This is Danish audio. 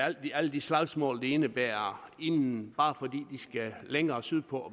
alle de slagsmål det indebærer inden bare fordi de skal længere sydpå